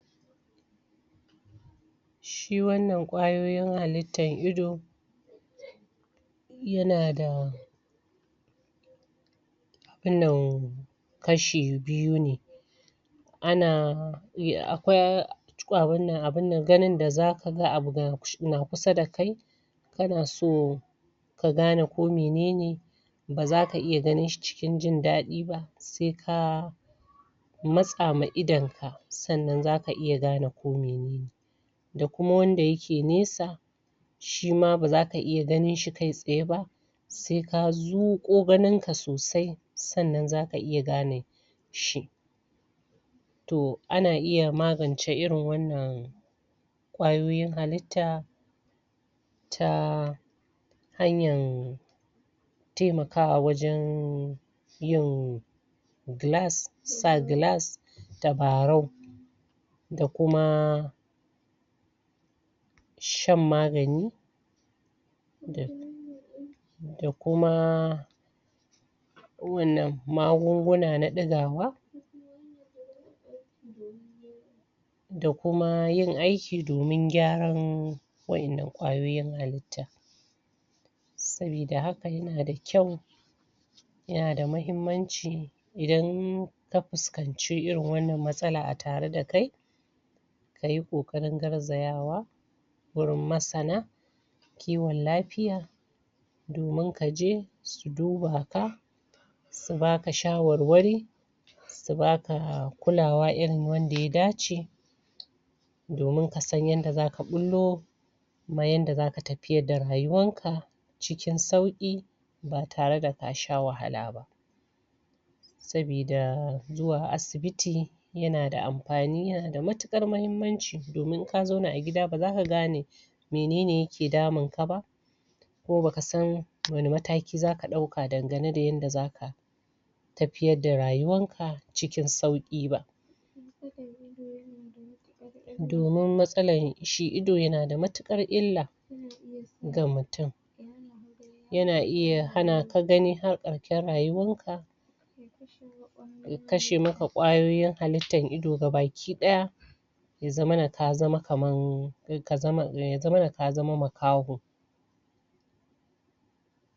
Shi wannan kwayoyin halittan ido ya na da abunnan kashi biyu ne a na yi akwai abunnan abunnan ganin da za ka gan abu, ga na kusa da kai ka na so, ka gane ko menene ba za ka iya ganin shi cikin jindadi ba sai ka matsa ma idon ka, tsannan za ka iya gane ma idon ka ko menene da kuma wanda ya ke nesa shi ma ba za ka iya ganin shi kai tsiye ba sai ka zuƙo ganin ka sosai, tsannan za ka iya gane shi toh a na iya magance da irin wannan kwayoyin halitta ta hanyar taimakawa wajen yin glass, sa glass dabarau da kuma shan magani da da kuma kowanne magunguna na dagawa da kuma yin aiki domin gyaran wayannan kwayoyin halita sabida haka ya na da kyau ya na da mahimmanci, idan da fuskace iri wannan matsala a tare da kai ka yi kokarin daraziawa wurin masana kewan lafiya domin ka je, su duba ka ta ba ka shawarwari ta ba ka, kulawa irin wanda ya dace domin kasan yan da za ka bullo ma yan da za ka tafiyar da rayuwan ka cikin sauki, ba tare da ka sha wahala ba sabida zu wa asibiti ya na da amfani, ya na da matukar mahimmanci domin in ka zauna a gida ba za ka gane, menene ya ke damun ka ba ko ba ka san, wani mataki za ka dauka danganen da yanda za ka tafiyar da rayuwan ka cikin sauki ba. Domin matsalla, shi ido ya na da matakar illa ga mutum ya na iya hana ka gani harkaƙen rayuwar ka ya kashe ma ka kwayoyin halittan ido gabakidaya, ya zamana ka zaman kaman, ka zaman, ya zamana ka zaman makaho.